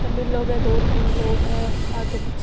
तमिल लोग है दो तीन लोग है आगे पीछे।